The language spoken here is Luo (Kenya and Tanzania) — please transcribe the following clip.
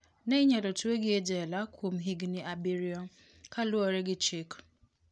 Ne inyalo twegi e jela kuom higini abiriyo" kaluore gi chik.